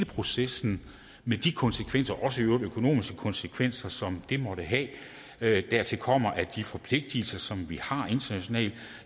processen med de konsekvenser også i øvrigt økonomiske konsekvenser som det måtte have dertil kommer at de forpligtelser som vi har internationalt